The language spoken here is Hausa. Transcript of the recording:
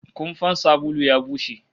Kumfan sabulu ya bushe